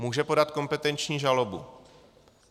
Může podat kompetenční žalobu.